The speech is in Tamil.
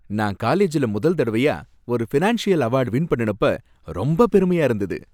நான் காலேஜ்ல முதல் தடவயா ஒரு ஃபினான்ஷியல் அவார்ட வின் பண்ணுனப்ப ரொம்பப் பெருமையா இருந்தது